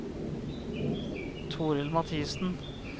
Toril Mathiesen